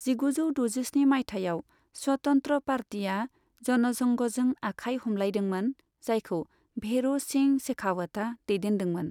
जिगुजौ द'जिस्नि माइथायाव स्वतन्त्र पार्टीआ जनसंघजों आखाय हमलायदोंमोन, जायखौ भेर' सिंह शेखावतआ दैदेनदोंमोन।